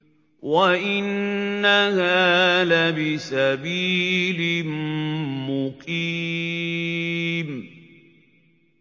وَإِنَّهَا لَبِسَبِيلٍ مُّقِيمٍ